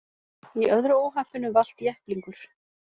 Í öðru óhappinu valt jepplingur